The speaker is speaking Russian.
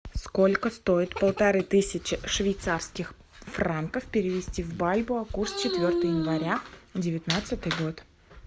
сколько стоит полторы тысячи швейцарских франков перевести в бальбоа курс четвертое января девятнадцатый год